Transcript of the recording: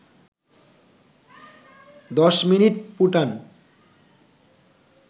১০ minute ফুটান